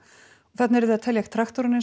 þarna eruð þið að telja traktora